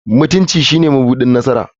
Mutunci shine mabuɗin nasara.